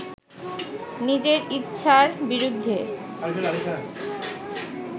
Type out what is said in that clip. নিজের ইচ্ছার বিরুদ্ধে